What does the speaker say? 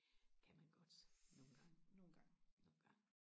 det kan man godt nogle gange nogle gange